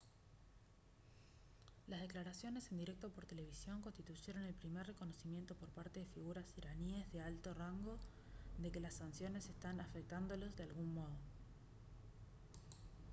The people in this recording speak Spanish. las declaraciones en directo por televisión constituyeron el primer reconocimiento por parte de figuras iraníes de alto rango de que las sanciones están afectándolos de algún modo